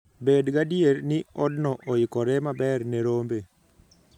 Bed gadier ni odno oikore maber ne rombe.